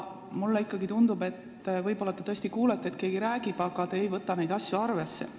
Mulle ikkagi tundub, et võib-olla te tõesti kuulete, et keegi räägib, aga te ei võta neid asju arvesse.